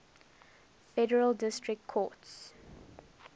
federal district courts